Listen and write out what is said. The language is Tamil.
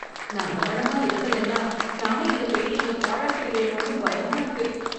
நான் கவனமா இருக்கலனா, நானே இந்த பெயிண்டிங்க பாழாக்கிடுவேனோன்னு பயமா இருக்கு.